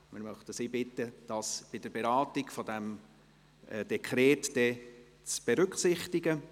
Wir möchten die SAK bitten, dies bei der Beratung des Dekrets zu berücksichtigen.